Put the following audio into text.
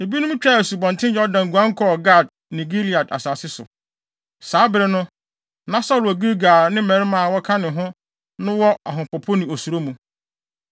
Ebinom twaa Asubɔnten Yordan guan kɔɔ Gad ne Gilead asase so. Saa bere no, na Saulo wɔ Gilgal a ne mmarima a wɔka ne ho no wɔ ahopopo ne osuro mu.